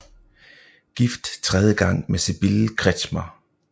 Gift tredje gang med Sibylle Kretschmer